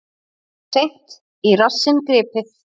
Seint í rassinn gripið.